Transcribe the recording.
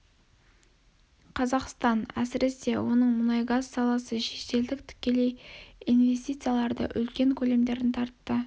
қазақстан әсіресе оның мұнайгаз саласы шетелдік тікелей инвестициялардың үлкен көлемдерін тартты